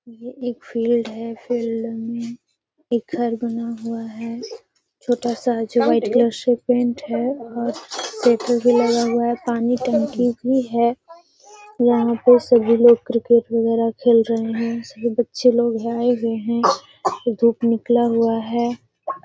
ये एक फिल्ड है। फिल्ड में एक घर बना हुआ है छोटा सा जो वाइट् कलर से पेंट है और पेपर व लगा हुआ है पानी टंकी भी है। यहाँ पे सभी लोग क्रिर्केट वगेरा खेल रहे हैं सभी बच्चे लोग आये हुए हैं। धुप निकला हुआ हैं।